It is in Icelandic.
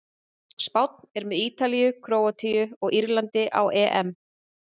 Spánn er með Ítalíu, Króatíu og Írlandi á EM.